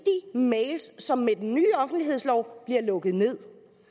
mails som med den nye offentlighedslov bliver lukket nederst